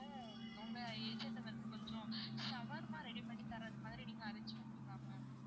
உங்க agent அ வந்து கொஞ்சம் shawarma ready பண்ணி தரது மாதிரி நீங்க arrange பண்ணுவீங்களா ma'am